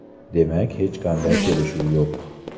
Demak hech qanday kelishuv yo‘q .